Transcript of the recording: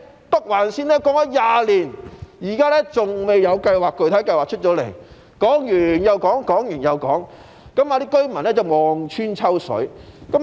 北環綫提出了20年，現時仍未提出具體計劃，說完又說，居民望穿秋水。